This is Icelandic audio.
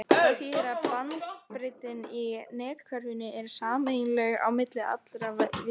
Það þýðir að bandbreiddin í netkerfinu er sameiginleg á milli allra véla.